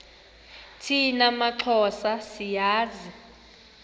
thina maxhosa siyazi